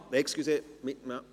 Ach so, entschuldigen Sie!